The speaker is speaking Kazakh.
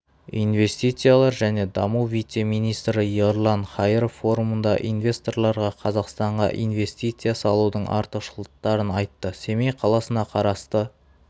инвестициялар және даму вице-министрі ерлан қайыров форумында инвесторларға қазақстанға инвестицичя салудың артықшылықтарын айтты семей қаласына қарасты